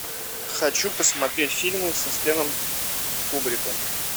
хочу посмотреть фильмы со стэном кубриком